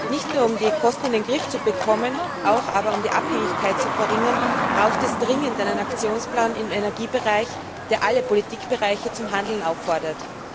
Nicht nur um die Kosten in den Griff zu bekommen, sondern auch um die Abhängigkeit zu verringern, braucht es dringend einen Aktionsplan im Energiebereich, der alle Politikbereiche zum Handeln auffordert.